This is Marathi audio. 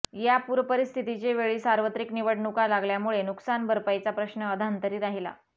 या पूरपरिस्थितीचे वेळी सार्वत्रिक निवडणुका लागल्यामुळे नुकसान भरपाईचा प्रश्न अधांतरी राहीला